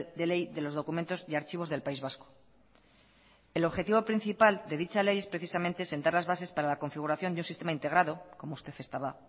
de ley de los documentos y archivos del país vasco el objetivo principal de dicha ley es precisamente sentar las bases para la configuración de un sistema integrado como usted estaba